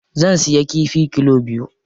Zan siya kifi kilo biyu.